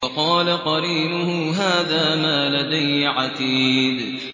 وَقَالَ قَرِينُهُ هَٰذَا مَا لَدَيَّ عَتِيدٌ